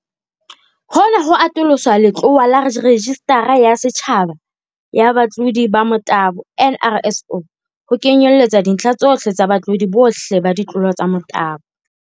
Hona ho atolosa letlowa laRejistara ya Setjhaba ya Batlodi ba Motabo, NRSO, ho kenyelletsa dintlha tsohle tsa batlodi bohle ba ditlolo tsa motabo.